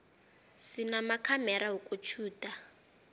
sinamakhamera wokutjhuda